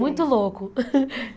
Muito louco.